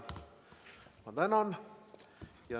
Ma tänan!